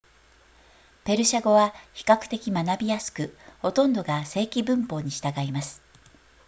ペルシャ語は比較的学びやすくほとんどが正規文法に従います